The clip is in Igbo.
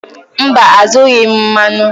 Mba, azụrụghị m mmanụ.